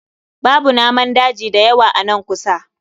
Babu namun daji da yawa a nan kusa